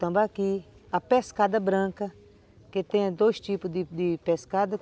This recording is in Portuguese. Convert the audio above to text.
Tambaqui, a pescada branca, que tem dois tipos de de pescada.